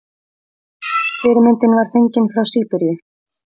Fyrirmyndin var fengin frá Síberíu.